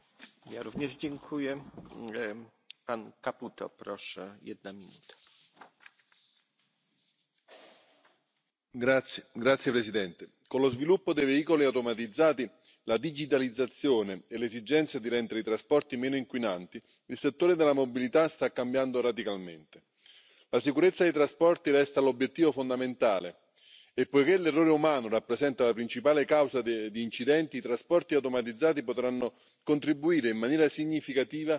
să felicit raportorul și pe toți colegii care vor susține acest raport. Sper să fie votat mâine, pentru că, da, în domeniul transportului trebuie să avem o viziune. Nu putem să schimbăm infrastructura, fie ea rutieră, pe cale ferată sau orice alt mijloc de transport, așa cum schimbăm un mobilier. De aceea, doamna comisar, aveți o problemă foarte complicată. Să finalizăm în sfârșit pachetul de mobilitate și să vedem cum facem o agendă și o viziune pe termen lung, pentru că avem nevoie